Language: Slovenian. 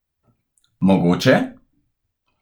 Mogoče?